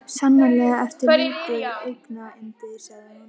Sannarlega ertu lítið augnayndi sagði hún.